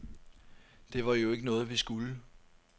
Det var jo ikke noget, vi skulle.